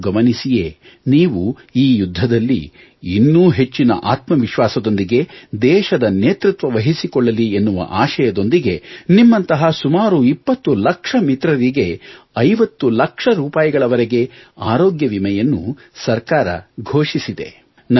ಇದನ್ನು ಗಮನಿಸಿಯೇ ನೀವು ಈ ಯುದ್ಧದಲ್ಲಿ ಇನ್ನೂ ಹೆಚ್ಚಿನ ಆತ್ಮವಿಶ್ವಾಸದೊಂದಿಗೆ ದೇಶದ ನೇತೃತ್ವ ವಹಿಸಿಕೊಳ್ಳಲಿ ಎನ್ನುವ ಆಶಯದೊಂದಿಗೆ ನಿಮ್ಮಂತಹ ಸುಮಾರು 20 ಲಕ್ಷ ಮಿತ್ರರಿಗೆ 50 ಲಕ್ಷ ರೂಪಾಯಿಗಳವರೆಗೆ ಆರೋಗ್ಯ ವಿಮೆಯನ್ನು ಸರ್ಕಾರ ಘೋಷಿಸಿದೆ